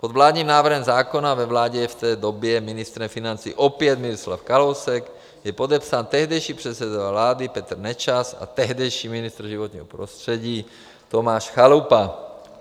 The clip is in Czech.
Pod vládním návrhem zákona, ve vládě je v té době ministrem financí opět Miroslav Kalousek, je podepsán tehdejší předseda vlády Petr Nečas a tehdejší ministr životního prostředí Tomáš Chalupa.